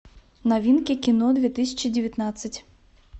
новинки кино две тысячи девятнадцать